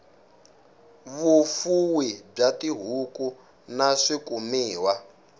vufuwi bya tihuku na swikumiwa